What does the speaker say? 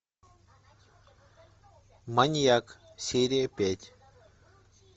маньяк серия пять